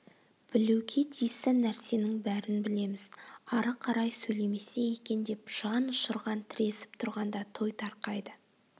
білуге тиісті нәрсенің бәрін білеміз ары қарай сөйлемесе екен деп жанұшырған тіресіп тұрғанда той тарқайды